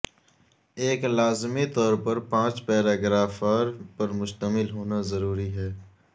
ایک لازمی طور پر پانچ پیراگراف پر مشتمل ہونا ضروری ہے